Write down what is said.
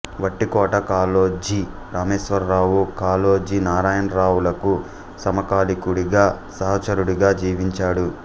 వట్టికోట కాళోజీ రామేశ్వరావు కాళోజీ నారాయణరావులకు సమకాలికుడి గా సహచరుడిగా జీవించాడు